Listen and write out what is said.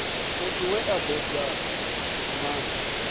muthu we a bebwa na